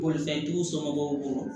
Bolifɛntigiw somɔgɔw bolo